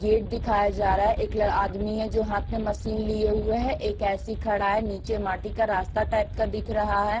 Gate दिखाया जा रहा है एक ल आदमी है जो हाथ में मशीन लिए हुए हैं एक ऐसी खड़ा है नीचे माटी का रास्ता टाइप का दिख रहा है।